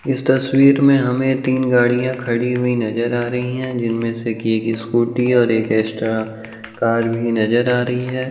इस तस्वीर में हमें तीन गाड़ियाॅं खड़ी हुई नजर आ रही हैं जिनमें की एक स्कूटी और एक एस्ट्रा कार भी नजर आ रही है।